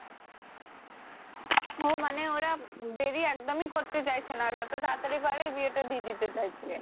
হ্যা মানে ওরা দেরি একদমই করতে চাইছে না যত তাড়াতাড়ি পারে বিয়েটা দিয়ে দিতে চাইছে